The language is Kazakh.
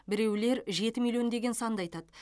біреулер жеті миллион деген санды айтады